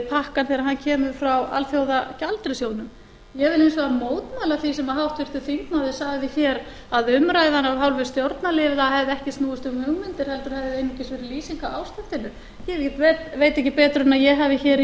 pakkann þegar hann kemur frá alþjóðagjaldeyrissjóðnum ég vil hins vegar mótmæla því sem háttvirtur þingmaður sagði hér að umræðan af hálfu stjórnarliða hefði ekki snúist um hugmyndir heldur hefði einungis verið lýsing á ástandinu ég veit ekki betur en að ég hafi hér í